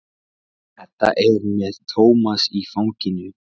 Edda er með Tómas í fanginu.